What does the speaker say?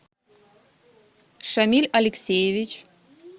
шамиль алексеевич